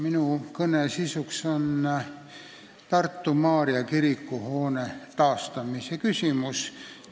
Minu kõne sisuks on Tartu Maarja kiriku hoone taastamise küsimus.